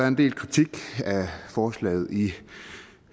en del kritik af forslaget i